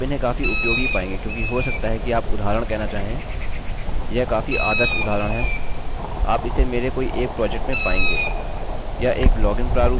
आप इन्हें काफी उपयोगी पायेंगे क्योंकि हो सकता है कि आप उदाहरण कहना चाहेंयह काफी आदर्श उदाहरण है आप इसे मेरे कोई एक प्रोजेक्ट में पायेंगे